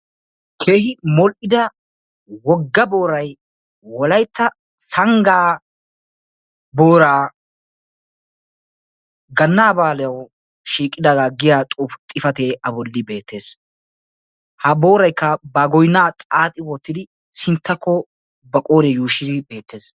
keehi modhida boora bolani wolaytta sanga booraa yaagiya xuufe a bollani beettesi booraykka goynaa xaaxidi baaga sintta haakko zaaridi beettesi.